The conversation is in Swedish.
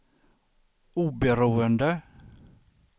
oberoende